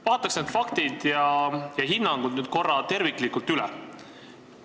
Vaataks need faktid ja hinnangud korra terviklikult üle.